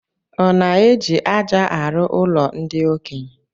Ọ na-eji aja arụ ụlo ndi okenye?